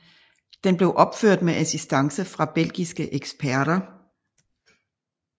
Den blev opført med assistance fra belgiske eksperter